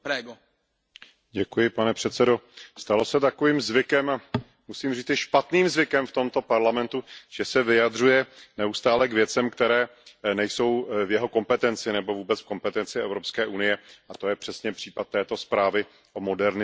Pane předsedající, stalo se takovým zvykem, musím říci špatným zvykem v tomto Parlamentu, že se vyjadřuje neustále k věcem, které nejsou v jeho kompetenci nebo vůbec v kompetenci EU, a to je přesně případ této zprávy o modernizaci výuky.